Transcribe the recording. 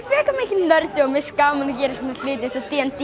frekar mikill nördi og finnst gaman að gera svona hluti eins og d